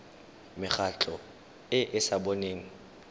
mekgatlho e e sa boneng